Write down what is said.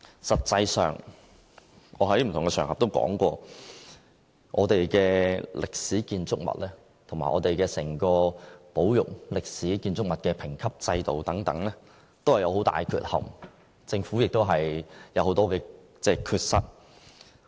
實際上，我在不同場合均曾表示，我們的歷史建築物和整個保育歷史建築物的評級制度，均存在很大的缺憾，政府也有很多缺失。